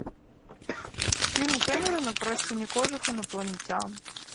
фильм кэмерона про синекожих инопланетян